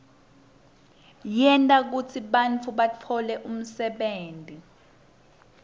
tenta kutsi bantfu batfole umsebenti